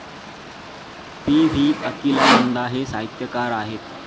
P V. अकिलानंदां हे साहित्यकार आहेत.